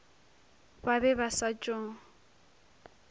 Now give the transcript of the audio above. ba be ba sa tšo